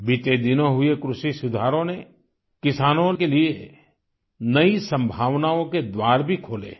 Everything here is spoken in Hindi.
बीते दिनों हुए कृषि सुधारों ने किसानों के लिए नई संभावनाओं के द्वार भी खोले हैं